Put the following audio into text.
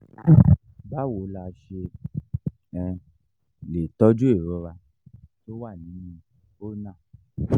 báwo la ṣe um lè tọ́jú ìrora tó wà nínú ulna?